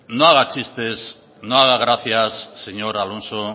no haga chistes no haga gracia señor alonso